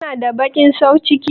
Kana da baƙin sauciki?